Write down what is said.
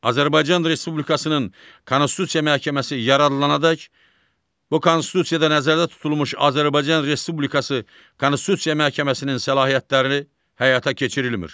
Azərbaycan Respublikasının Konstitusiya Məhkəməsi yaradılandək bu Konstitusiyada nəzərdə tutulmuş Azərbaycan Respublikası Konstitusiya Məhkəməsinin səlahiyyətlərini həyata keçirilmir.